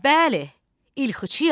Bəli, ilxıçıyam.